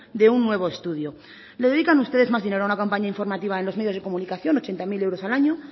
de un nuevo estudio le dedican ustedes más dinero a una campaña informativa en los medios de comunicación ochenta mil euros a año